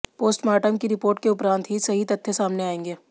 postmortem की report के उपरांत ही सही तथ्य सामने आएंगे